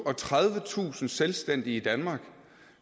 og tredivetusind selvstændige i danmark